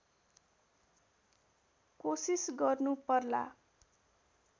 कोसिस गर्नु पर्ला